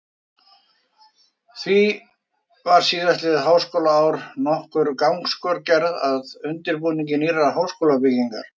Því var síðastliðið háskólaár nokkur gangskör gerð að undirbúningi nýrrar háskólabyggingar.